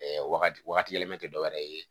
wagati wagati yɛlɛma tɛ dɔwɛrɛ ye